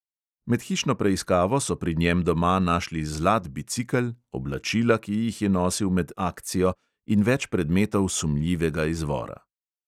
Med hišno preiskavo so pri njem doma našli zlat bicikel, oblačila, ki jih je nosil med "akcijo", in več predmetov sumljivega izvora.